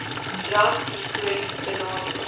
ras histories benadeel